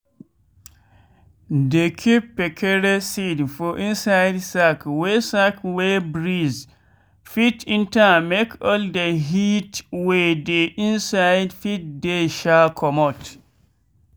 dey keep kpekere seed for inside sack wey sack wey breeze fit enter make all de heat wey dey inside fit dey um comot.